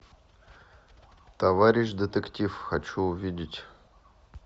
товарищ детектив хочу увидеть